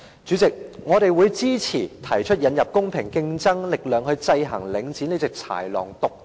主席，我們支持引入公平競爭力量來制衡領展，使這隻豺狼不能獨大。